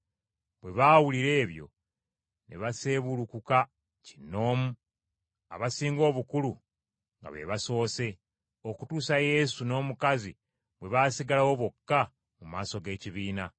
Bwe baawulira ebyo, ne baseebulukuka kinnoomu, abasinga obukulu nga be basoose, okutuusa Yesu n’omukazi bwe baasigalawo bokka mu maaso g’ekibiina.